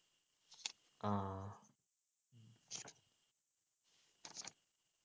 ആഹ്